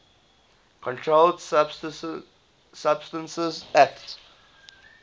controlled substances acte